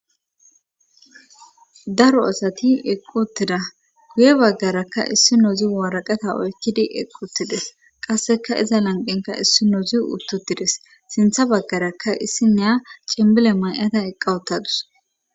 Daro asati eqquttida guye baggarakka issi noozi waaraqeta oykkidi eqquttides qasseka iza lanqenka issi nozi uttutides sintha baggarakka issi neya cimmile may7ata eqqawuttadus.